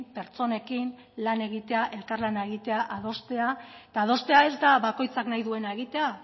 pertsonekin lan egite elkarlana egitea adostea eta adostea ez da bakoitzak nahi duena egitea